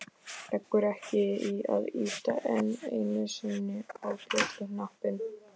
Leggur ekki í að ýta enn einu sinni á bjölluhnappinn.